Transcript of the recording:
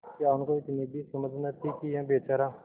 क्या उनको इतनी भी समझ न थी कि यह बेचारा